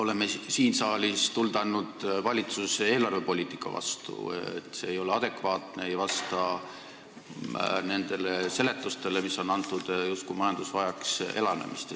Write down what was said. Oleme siin saalis tuld andnud valitsuse eelarvepoliitikale, sest see ei ole adekvaatne ega vasta nendele seletustele, mis meile on antud, justkui majandus vajaks elavnemist.